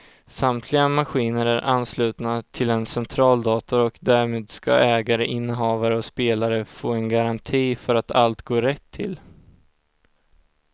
Samtliga maskiner är anslutna till en centraldator och därmed ska ägare, innehavare och spelare få en garanti för att allt går rätt till.